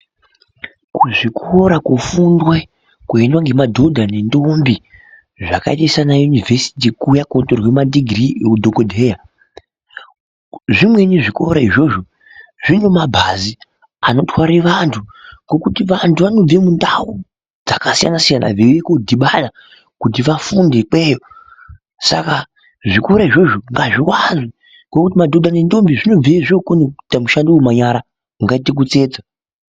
Kuzvikora kofundwa koendwa ngemadhodha nendombi, zvakaite saana yunivhesiti kuya kootorwe madhigirii eudhokodheya, zvimweni zvikora izvozvo zvine mabhazi anotware vantu. Ngekuti vantu vanobve mundau dzakasiyana-siyana veiuye koodhibana kuti vafunde ikweyo. Saka zvikora izvozvo ngazviwanzwe, ngekuti madhodha nendombi zvinobveyo zvookona kuita mushando wemanyara, ungaite kutsetsa.